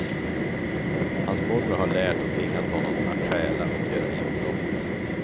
Hans morbror har lärt och tvingat honom att stjäla och göra inbrott.